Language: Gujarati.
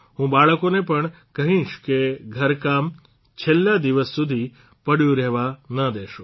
હું બાળકોને પણ કહીશ કે ઘરકામ છેલ્લા દિવસ સુધી પડ્યું રહેવા ના દેશો